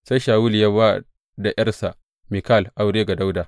Sai Shawulu ya ba da ’yarsa Mikal aure ga Dawuda.